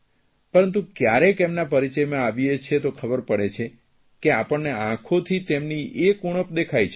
પરંતુ ક્યારેક તેમના પરિચયમાં આવીએ છીએ તો ખબર પડે છે કે આપણને આંખોથી તેમની એક ઉણપ દેખાય છે